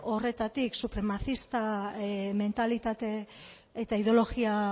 horretatik supremacista mentalitate eta ideologia